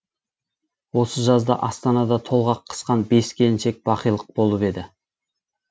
осы жазда астанада толғақ қысқан бес келіншек бақилық болып еді